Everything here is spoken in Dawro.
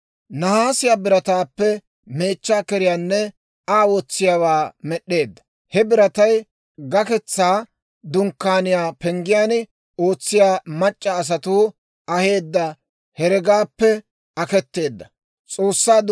Nahaasiyaa birataappe meechchaa keriyaanne Aa wotsiyaawaa med'd'eedda; he biratay Gaketsaa Dunkkaaniyaa penggiyaan ootsiyaa mac'c'a asatuu aheedda heregaappe aketeedda.